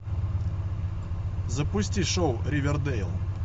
запусти шоу ривердэйл